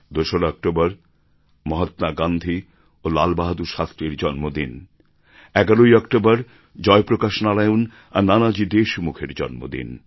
দোসরা অক্টোবর মহাত্মা গান্ধী এবং লাল বাহাদুর শাস্ত্রীর জন্মদিন ১১ ই অক্টোবর জয়প্রকাশ নারায়ণ আর নানাজি দেশমুখের জন্মদিন